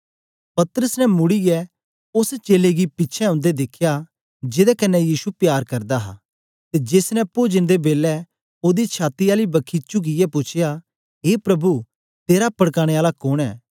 पतरस ने मुड़ीयै ओस चेलें गी पिछें औंदे दिखया जेदे कन्ने यीशु प्यार करदा हा ते जेस ने पोजन दे बेलै ओदी छाती आली बखी चुकियै पूछया ए प्रभु तेरा पड़काने आला कोन ऐं